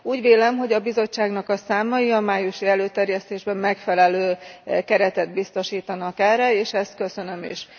Úgy vélem, hogy a Bizottságnak a számai a májusi előterjesztésben megfelelő keretet biztosítanak erre, és ezt köszönöm is.